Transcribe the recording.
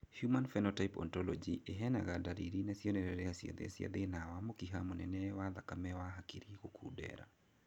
Human Phenotype Ontology ĩheanaga ndariri na cionereria ciothe cia thĩna wa mũkiha mũnene wa thakame wa hakiri gukundera